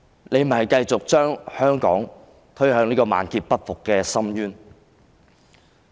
你只會繼續把香港推向萬劫不復的深淵。